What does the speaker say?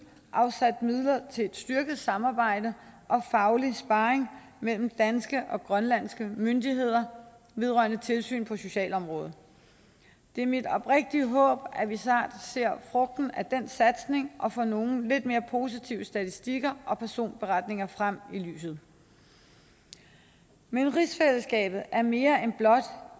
afsat midler til et styrket samarbejde og faglig sparring mellem danske og grønlandske myndigheder vedrørende tilsyn på socialområdet det er mit oprigtige håb at vi snart ser frugten af den satsning og får nogle lidt mere positive statistikker og personberetninger frem i lyset men rigsfællesskabet er mere end blot